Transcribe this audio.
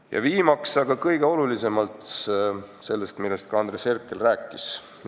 Ja viimaseks kõige olulisemast, millest ka Andres Herkel rääkis.